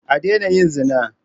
A daina yin zina.